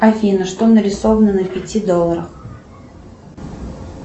афина что нарисовано на пяти долларах